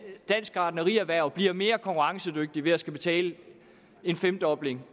dansk gartnerierhverv bliver mere konkurrencedygtigt ved at skulle betale en femdobling